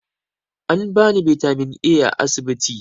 An bani bitamin A a asibiti